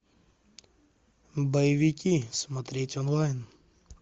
боевики смотреть онлайн